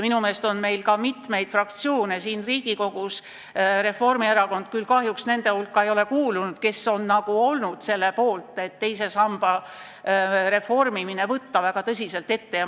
Minu meelest on Riigikogus mitu fraktsiooni – Reformierakonna oma küll kahjuks nende hulka ei ole kuulunud –, kes on selle poolt, et teise samba reformimine tuleb tõsiselt ette võtta.